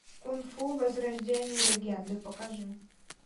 кунг фу возрождение легенды покажи